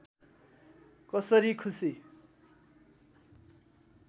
कसरी खुसी